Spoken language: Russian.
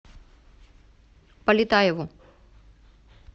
полетаеву